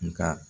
Nka